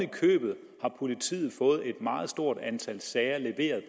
i købet har politiet fået et meget stort antal sager leveret